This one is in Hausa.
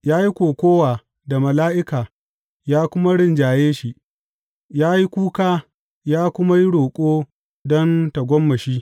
Ya yi kokawa da mala’ika ya kuma rinjaye shi; ya yi kuka ya kuma yi roƙo don tagomashi.